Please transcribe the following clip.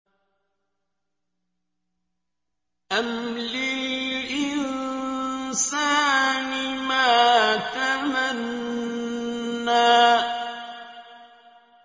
أَمْ لِلْإِنسَانِ مَا تَمَنَّىٰ